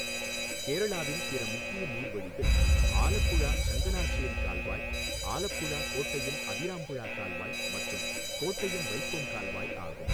கேரளாவின் பிற முக்கிய நீர்வழிகள் ஆலப்புழா சங்கனாஸ்ஸேரி கால்வாய், ஆலப்புழா கோட்டயம் அதிராம்புழா கால்வாய் மற்றும் கோட்டயம் வைக்கோம் கால்வாய் ஆகும்.